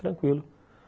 Tranquilo.